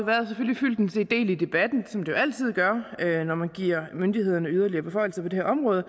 er en del i debatten som det jo altid gør når man giver myndighederne yderligere beføjelser på det her område og